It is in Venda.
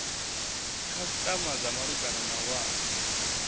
khasitama dza malugana na wana